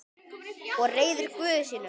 Og reiður Guði sínum.